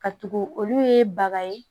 Ka tugu olu ye baga ye